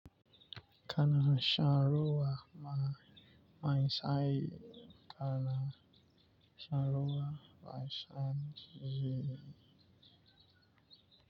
Kana san sharan ruwa mai sanyi ko sharan ruwa mai zafi.